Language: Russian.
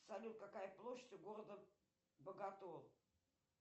салют какая площадь у города боготол